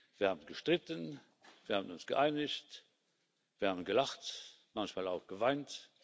wir haben gestritten, wir haben uns geeinigt, wir haben gelacht, manchmal auch geweint.